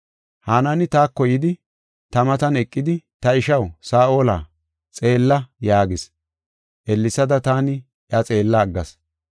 Hanaani taako yidi, ta matan eqidi, ‘Ta ishaw Saa7ola, xeella’ yaagis. Ellesada taani iya xeella aggas.